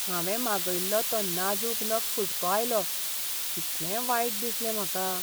हांवें मागयल्लो तो नाजूक नग फुटको आयलो. कितलें वायट दिसलें म्हाका!